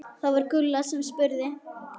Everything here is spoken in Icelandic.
Það var Gulla sem spurði.